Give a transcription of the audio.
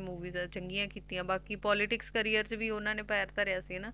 ਬਾਕੀ Politics Career ਦੇ ਵਿੱਚ ਵੀ ਓਹਨਾ ਨੇ ਪਰ ਧਰਿਆ ਸੀ ਨਾ